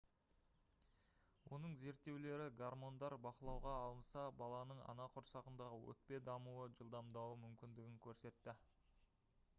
оның зерттеулері гармондар бақылауға алынса баланың ана құрсағындағы өкпе дамуы жылдамдауы мүмкіндігін көрсетті